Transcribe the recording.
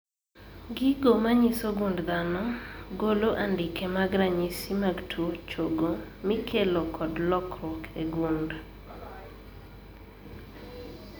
Gigo manyiso gund dhano golo andike mag ranyisi mag tuo chogo mikelo kod lokruok e gund